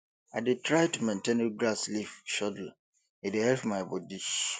i dey try to maintain regular sleep schedule e dey help my body